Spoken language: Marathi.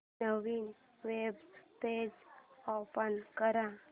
नवीन वेब पेज ओपन कर